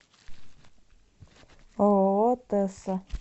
ооо тэсса